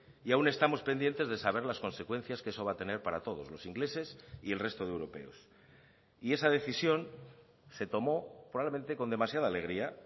y aun estamos pendientes de saber las consecuencias que eso va a tener para todos los ingleses y el resto de europeos y esa decisión se tomó probablemente con demasiada alegría